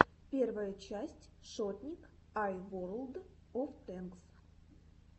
первая часть шотник ай ворлд оф тэнкс